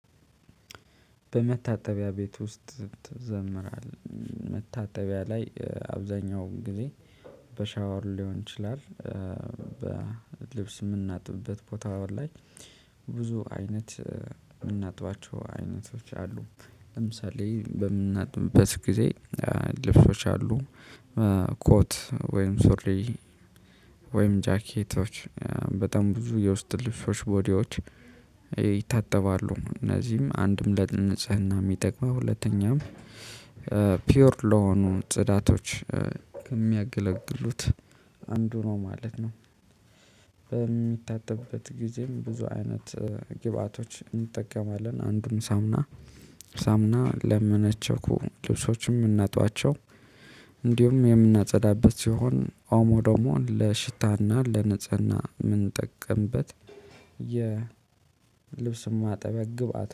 በመታጠቢያ ቤት ውስጥ ትዘምራለህ መታጠቢያ ላይ አብዛኛው ጊዜ በሻወር ሊሆን ይችላል። በልብስ የምናጥብበት ቦታዋል ላይ ብዙ አይነት የምናጥባቸው አይነቶች አሉ። ለምሳሌ በምናጥብበት ጊዜ ልብሶች አሉ። ኮት ወይም ሱሪ ወይም ጃኬቶች በጣም ብዙ የውስጥ ልፍሶች ቦዲዎች ይታጠባሉ እነዚህም አንድም ለንጽህና የሚጠቅመው ሁለተኛም ፒዩር ለሆኑ ጽዳቶች ከሚያገለግሉት አንዱ ነው ማለት ነው። በሚታጠብበት ጊዜም ብዙ አይነት ግብአቶች እንጠቀማለን አንዱን ሳሙና ሳሙና ለመነቸኩ ልብሶችም እምናጥባቸው። እንዲሁም የምናጸዳበት ሲሆን ኦሞ ደሞን ለሽታና ለንጽህና የምንጠቀምበት የልብስም አጠበቅ ግብ